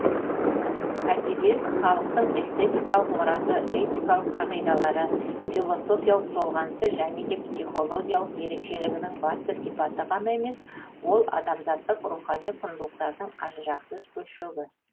әдебиет халықтың эстетикалық мұраты этикалық қағидалары философиялық толғанысы және де психологиялық ерекшелігінің басты сипаты ғана емес ол адамзаттық рухани құндылықтардың ажырағысыз бөлшегі